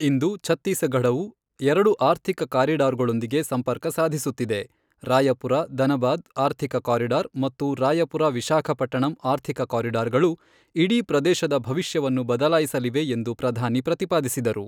ಇಂದು ಛತ್ತೀಸಗಢವು ಎರಡು ಆರ್ಥಿಕ ಕಾರಿಡಾರ್ಗಳೊಂದಿಗೆ ಸಂಪರ್ಕ ಸಾಧಿಸುತ್ತಿದೆ, ರಾಯಪುರ ಧನಬಾದ್ ಆರ್ಥಿಕ ಕಾರಿಡಾರ್ ಮತ್ತು ರಾಯಪುರ ವಿಶಾಖಪಟ್ಟಣಂ ಆರ್ಥಿಕ ಕಾರಿಡಾರ್ ಗಳು ಇಡೀ ಪ್ರದೇಶದ ಭವಿಷ್ಯವನ್ನು ಬದಲಾಯಿಸಲಿವೆ ಎಂದು ಪ್ರಧಾನಿ ಪ್ರತಿಪಾದಿಸಿದರು.